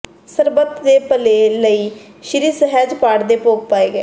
ਸਰਬੱਤ ਦੇ ਭਲੇ ਲਈ ਸ੍ਰੀ ਸਹਿਜ ਪਾਠ ਦੇ ਭੋਗ ਪਾਏ ਗਏ